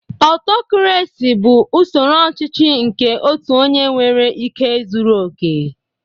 Autocaracy bụ usoro ọchịchị nke otu onye nwere ike zuru oke